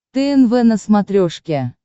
тнв на смотрешке